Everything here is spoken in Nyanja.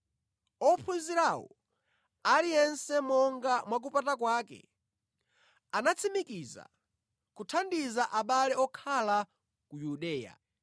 Ophunzirawo, aliyense monga mwakupata kwake, anatsimikiza kuthandiza abale okhala ku Yudeya.